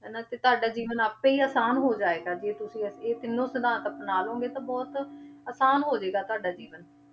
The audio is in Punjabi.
ਹਨਾ ਤੇ ਤੁਹਾਡਾ ਜੀਵਨ ਆਪੇ ਹੀ ਆਸਾਨ ਹੋ ਜਾਏਗਾ ਜੇ ਤੁਸੀਂ ਇਹ ਇਹ ਤਿੰਨੋਂ ਸਿਧਾਂਤ ਅਪਣਾ ਲਓਗੇ ਤਾਂ ਬਹੁਤ ਆਸਾਨ ਹੋ ਜਾਏਗਾ ਤੁਹਾਡਾ ਜੀਵਨ,